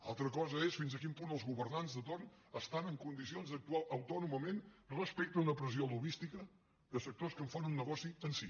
altra cosa és fins a quin punt els governants de torn estan en condicions d’actuar autònomament respecte d’una pressió lobbística de sectors que en fan un negoci en si